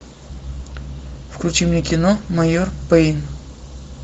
включи мне кино майор пэйн